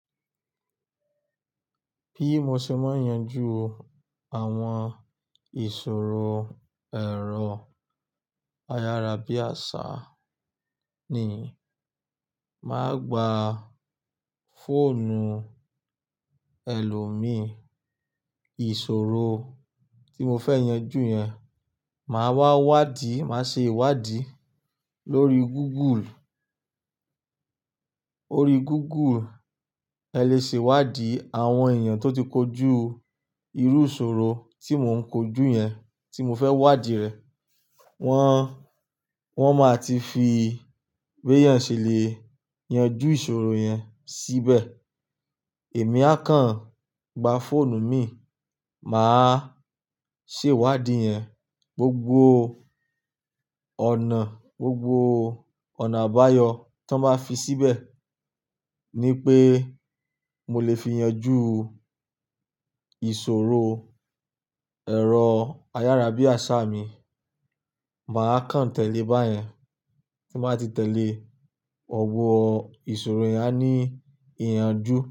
Bí mo ṣe máa ń yanjú àwọn ìṣòro ẹ̀rọ ayárabíàṣá ni, màá gba fóònù ẹlòmíì ìṣòro tí mo fẹ́ yanjú yẹn, màá wá wádìí, màá ṣe ìwádìí lórí Google. Órí Google, ẹ lè ṣe ìwádìí àwọn èèyàn tó ti kojú irú ìṣòro tí mò ń kojú yẹn, tí mo fẹ́ wádìí rẹ̀. Wọ́n, wọ́n máa ti fi béèyàn ṣe lé è yanjú ìṣòro yẹn síbẹ̀. Èmi a kàn gba fóònù mi, màá ṣe ìwádìí yẹn, gbogbo ọ̀nà, gbogbo ọ̀nà àbáyọ tan báa fi síbẹ̀ ni pé mo lè fi yanjú ìṣòro ẹ̀rọ ayárabíàṣá mi. Màá kàn tẹ̀lé báyẹn. Ti n bàá ti tẹ̀lé, gbogbo ìṣòro yẹn á ní ìyànjú.